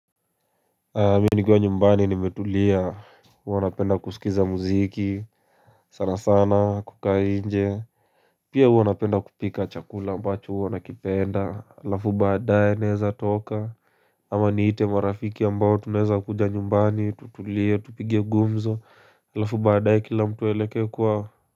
Mi nikiwa nyumbani nimetulia huwa napenda kusikiza muziki sana sana kukaa nje Pia huwa napenda kupika chakula ambacho huwa nakipenda alafu baadaye naeza toka ama niite marafiki ambao tunaeza kuja nyumbani tutulie tupige gumzo alafu baadaye kila mtu aeleke kwao.